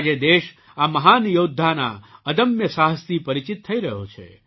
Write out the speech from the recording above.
આજે દેશ આ મહાન યૌદ્ધાના અદમ્ય સાહસથી પરિચિત થઈ રહ્યો છે